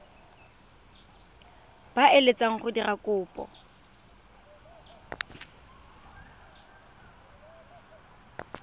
ba eletsang go dira kopo